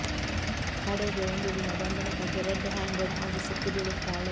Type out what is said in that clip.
ಕಡೆಗೆ ಒಂದು ದಿನ ಗಂಡನ ಕೈಗೆ ರೆಡ್ ಹ್ಯಾಂಡೆಡ್ ಆಗಿ ಸಿಕ್ಕಿಬೀಳುತ್ತಾಳೆ